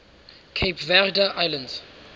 cape verde islands